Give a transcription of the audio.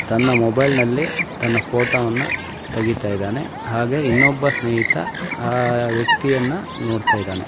ತನ್ನ ಮೊಬೈಲ್ ನಲ್ಲಿ ತನ್ನ ಫೋಟೋವನ್ನು ತೆಗಿತಾ ಇದ್ದಾನೆ ಹಾಗೆ ಇನ್ನೊಬ್ಬ ಸ್ನೇಹಿತ ಆ ಅಹ್ ವ್ಯಕ್ತಿಯನ್ನು ನೋಡ್ತಾ ಇದ್ದಾನೆ.